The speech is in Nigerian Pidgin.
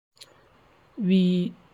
we